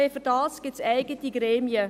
Dafür gibt es eigene Gremien.